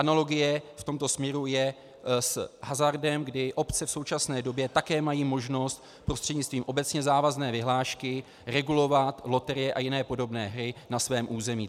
Analogie v tomto směru je s hazardem, kdy obce v současné době také mají možnost prostřednictvím obecně závazné vyhlášky regulovat loterie a jiné podobné hry na svém území.